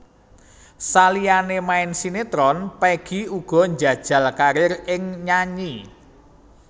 Saliyané main sinétron Peggy uga njajal karir ing nyanyi